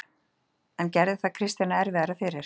En gerði það Kristjáni erfiðara fyrir?